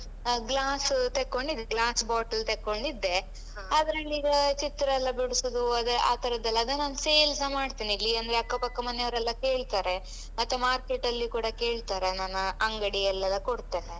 Glass ತೆಗೊಂಡಿದ್ದೆ glass bottle ತೆಕೊಂಡಿದ್ದೆ ಆಗ ನಂಗೀಗ ಚಿತ್ರ ಎಲ್ಲ ಬಿಡ್ಸುದು ಅದೇ ಆ ತರದೆಲ್ಲ ಅದು ನಾನ್ sale ಸ ಮಾಡ್ತೇನೆ ಇಲ್ಲಿ ಅಂದ್ರೆ ಅಕ್ಕಪಕ್ಕ ಮನೆಯವರೆಲ್ಲ ಕೇಳ್ತಾರೆ ಮತ್ತು market ಅಲ್ಲಿ ಕೂಡ ಕೇಳ್ತಾರೆ ನಾನು ಅಂಗಡಿಯಲ್ಲೆಲ್ಲ ಕೊಡ್ತೇನೆ.